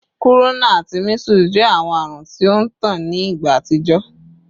Kuruna ati measles jẹ awọn arun ti o ntan ni igba atijọ